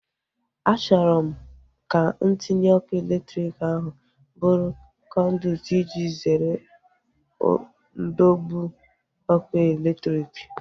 Achọrọ m ka ntinye ọkụ elektriki ahu bụrụ kọnduit iji zere ndọgbu ọkụ elektriki